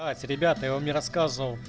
ребята его мне рассказы